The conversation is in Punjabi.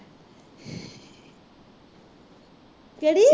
ਕਿਹੜੀ